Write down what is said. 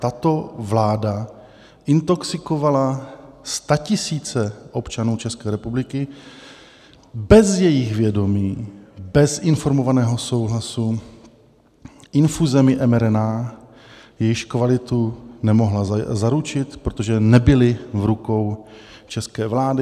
Tato vláda intoxikovala statisíce občanů České republiky bez jejich vědomí, bez informovaného souhlasu infuzemi mRNA, jejichž kvalitu nemohla zaručit, protože nebyly v rukou české vlády.